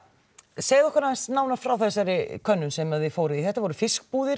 segðu okkur nánar frá þessari könnun sem þið fóruð í þetta voru fiskbúðir